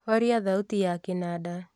horia thauti ya kĩnanda